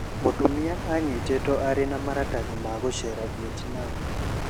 Mũtumia anyitĩtwe aarĩ na maratathi ma gucera Vietnam